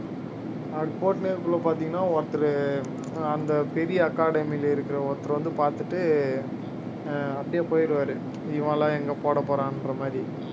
அப்படி போட்டு இருக்கக்குள்ள பாத்தீங்கன்னா ஒருத்தரு அந்த பெரிய academy ல இருக்கிற ஒருத்தர் வந்து பார்த்துட்டு ஆஹ் அப்படியே போயிடுவாரு இவன் எல்லாம் எங்க போடப்போறான்ற மாதிரி